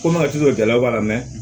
Komi a tɛ jɔ ja b'a la